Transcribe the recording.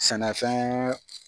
Sɛnɛfɛn